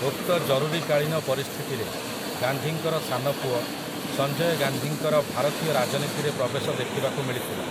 ଉକ୍ତ ଜରୁରୀକାଳୀନ ପରିସ୍ଥିତିରେ, ଗାନ୍ଧୀଙ୍କର ସାନ ପୁଅ, ସଞ୍ଜୟ ଗାନ୍ଧୀଙ୍କର ଭାରତୀୟ ରାଜନୀତିରେ ପ୍ରବେଶ ଦେଖିବାକୁ ମିଳିଥିଲା ।